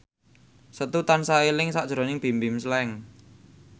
Setu tansah eling sakjroning Bimbim Slank